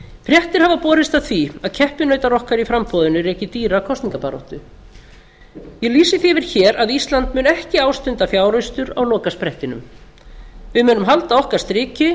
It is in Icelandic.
fréttir hafa borist af því að keppinautar okkar í framboðinu reki dýra kosningabaráttu ég lýsi því yfir hér að ísland mun ekki ástunda fjáraustur á lokasprettinum við munum halda okkar striki